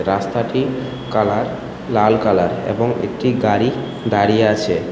রাস্তাটির কালার লাল কালার এবং একটি গাড়ি দাঁড়িয়ে আছে।